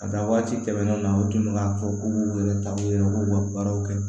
A dan waati tɛmɛnen na u tun bɛ k'a fɔ k'u k'u yɛrɛ ta u yɛrɛ b'u ka baaraw kɛ